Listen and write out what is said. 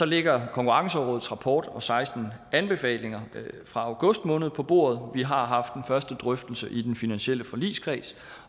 ligger konkurrencerådets rapport og seksten anbefalinger fra august måned på bordet vi har haft den første drøftelse i den finansielle forligskreds